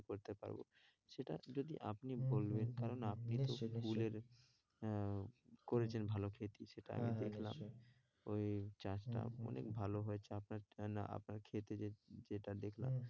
আমি করতে পারবো সেটা যদি আপনি বলবেন কারণ আপনি নিশ্চই নিশ্চই ফুলের আহ করেছেন ভালো feed দিয়েছে ওটা আমি দেখলাম ওই চাষটা অনেক ভালো হয়েছে আপনার জন্য আপনার ক্ষেতে যে যেটা দেখলাম।